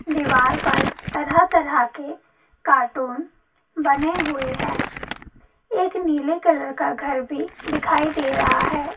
दीवार पर तरह -तरह के कार्टून बने हुए है एक नीले कलर का घर भी दिखाइ दे रहा है।